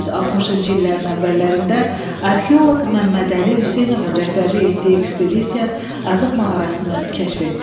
1960-cı illərin əvvəllərində arxeoloq Məmmədəli Hüseynovun rəhbərlik etdiyi ekspedisiya Azıq mağarasını kəşf etdi.